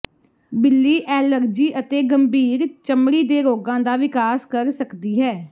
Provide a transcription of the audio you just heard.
ਬਿੱਲੀ ਐਲਰਜੀ ਅਤੇ ਗੰਭੀਰ ਚਮੜੀ ਦੇ ਰੋਗਾਂ ਦਾ ਵਿਕਾਸ ਕਰ ਸਕਦੀ ਹੈ